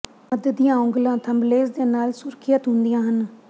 ਮੱਧ ਦੀਆਂ ਉਂਗਲਾਂ ਥੰਬਲੇਸ ਦੇ ਨਾਲ ਸੁਰੱਖਿਅਤ ਹੁੰਦੀਆਂ ਹਨ